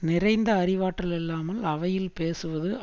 நிறைந்த அறிவாற்றல் இல்லாமல் அவையில் பேசுவது